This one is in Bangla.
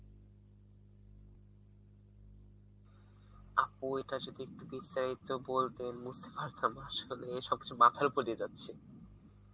আপু এটা যদি একটু বিস্তারিত বলতেন বুঝতে পারতাম আসলে সবকিছু মাথার উপর দিয়ে যাচ্ছে